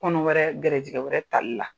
Kɔnɔ wɛrɛ gɛrɛjigɛ wɛrɛ tali la.